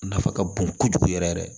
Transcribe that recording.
Nafa ka bon kojugu yɛrɛ yɛrɛ